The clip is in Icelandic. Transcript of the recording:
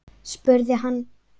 spurði hann.